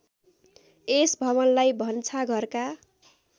यस भवनलाई भन्छाघरका